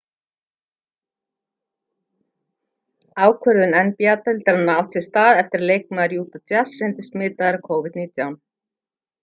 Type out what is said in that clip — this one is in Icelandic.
ákvörðun nba-deildarinnar átti sér stða eftir að leikmaður utah jazz reyndist smitaður af covid-19